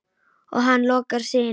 Og hann lokar sig inni.